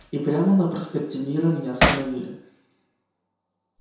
и прямо на проспекте мира меня остановили